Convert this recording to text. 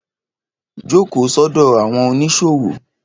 Jókòó sọ́dọ̀ àwọn oníṣòwò